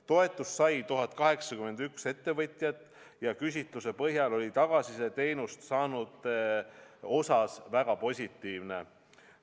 Toetust sai 1081 ettevõtjat ja küsitluse põhjal oli tagasiside teenust saanute osas väga positiivne.